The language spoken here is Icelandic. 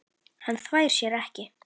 Hann þvær sér ekki.